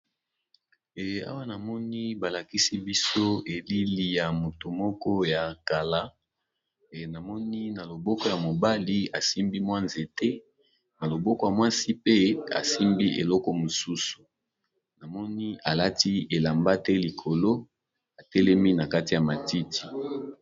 Awa namoni balakisi biso elili ya moto moko yakala namoni na loboko ya mobali asimbi mwa nzete naloboko ya mwasi asimbi mwa eloko mususu namoni alati elamba te likolo atelemi nakati ya matiti.